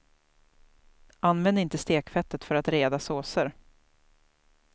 Använd inte stekfettet för att reda såser.